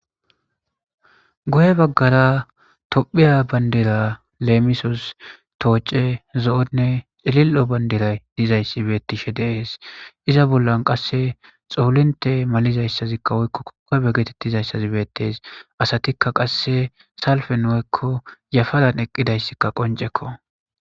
goye baggara tophiya bandira leemisos tooce zo7onne xilil7o bandiray dizayssi beettishe deees iza bollan qasse xoolinte malizayssazikka woykko kokabe getettizayssazi beettes asatikka qasse salfen woykko yafadan eqqidayssikka qoncekko